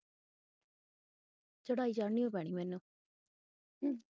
ਰੜਾਈ ਚੜਣੀ ਪੈਣੀ ਮੈਨੂੰ।